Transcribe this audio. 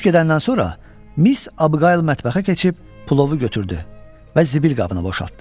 Polis gedəndən sonra Miss Abgail mətbəxə keçib plovu götürdü və zibil qabına boşaltdı.